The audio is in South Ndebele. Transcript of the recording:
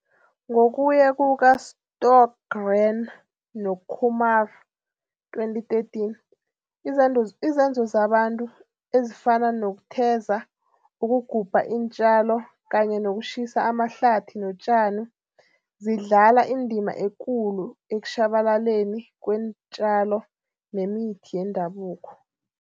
Ngokuya kuka-Stohlgren no-Kumar, 2013, izenzo zabantu ezifana nokutheza, ukugubha iinjalo kanye nokutjhisa amahlathi notjani zidlala indima ekulu ekutjhabalaleni kweentjalo nemithi yendabuko.